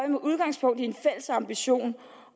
med udgangspunkt i en fælles ambition